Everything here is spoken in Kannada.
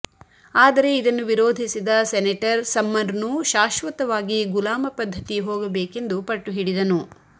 ಆದರೆ ಇದನ್ನು ವಿರೋಧಿಸಿದ ಸೆನೆಟರ್ ಸಮ್ನರ್ನು ಶಾಶ್ವತವಾಗಿ ಗುಲಾಮಪದ್ಧತಿ ಹೋಗಬೇಕೆಂದು ಪಟ್ಟು ಹಿಡಿದನು